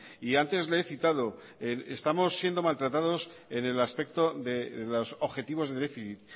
y antes le he citado estamos siendo maltratados en el aspecto de los objetivos de déficit